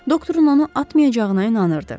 Doktorun onu atmayacağına inanırdı.